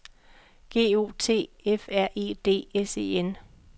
G O T F R E D S E N